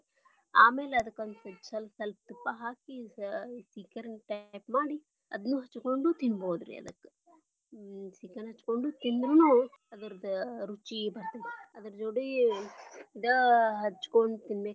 ಆಮ್ಯಾಲ ಅದಕ್ಕ ಒಂದ ಸ್ವಲ್ಪ ಬಿಟ್ಟ ತುಪ್ಪಾ ಹಾಕಿ ಸೀಕರ್ಣಿ type ಮಾಡಿ ಅದನ್ನು ಹಚ್ಕೊಂಡು ತಿನ್ನಬಹುದರಿ. ಅದಕ್ಕ ಸೀಕರ್ಣಿ ಹಚ್ಕೊಂಡ್ ತಿಂದ್ರನು ಅದ್ರದ ರುಚಿ ಬರ್ತೇದ ರೀ ಅದ್ರ ಜೋಡಿ ಇದ ಹಚ್ಕೊಂಡ.